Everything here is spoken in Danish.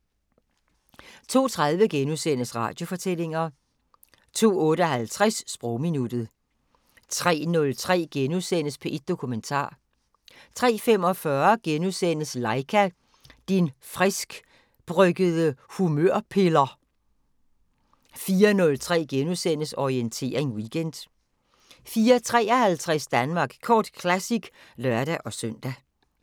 02:30: Radiofortællinger * 02:58: Sprogminuttet 03:03: P1 Dokumentar * 03:45: Laika - din friskbryggede humørpiller * 04:03: Orientering Weekend * 04:53: Danmark Kort Classic (lør-søn)